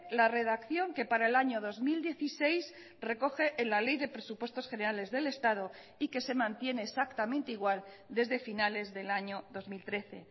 la redacción que para el año dos mil dieciséis recoge en la ley de presupuestos generales del estado y que se mantiene exactamente igual desde finales del año dos mil trece